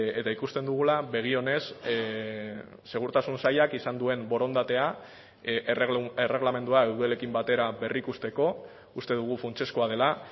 eta ikusten dugula begi onez segurtasun sailak izan duen borondatea erregelamendua eudelekin batera berrikusteko uste dugu funtsezkoa dela